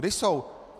Kde jsou?